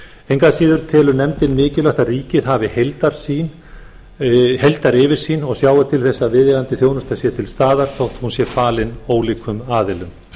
engu að síður telur nefndin mikilvægt að ríkið hafi heildaryfirsýn og sjái til þess að viðeigandi þjónusta sé til staðar þótt hún sé falin ólíkum aðilum